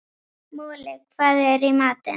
Moli, hvað er í matinn?